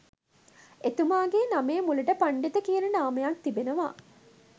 එතුමාගේ නමේ මුලට පණ්ඩිත කියන නාමයත් තිබෙනවා